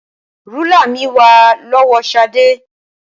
Rúlà mi wà lọ́wọ́ Ṣadé.